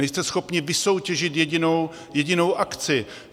Nejste schopni vysoutěžit jedinou akci.